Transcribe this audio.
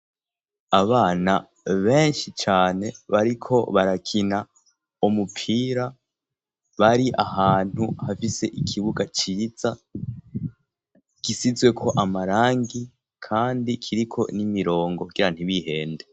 Abana benshi cane bariko barakina umupira bari ahantu hafise ikibuga ciza gisizweko amarangi kandi kiriko n'imirongo kugira ntibihende.